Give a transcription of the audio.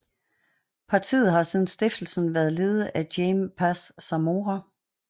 Partiet har siden stiftelsen været ledet af Jaime Paz Zamora